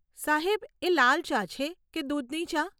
સાહેબ, એ લાલ ચા છે કે દૂધની ચા?